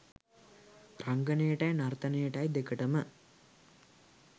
රංගනයටයි නර්තනයටයි දෙකටම